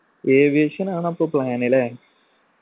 aviation ആണ് അപ്പൊ plan അല്ലെ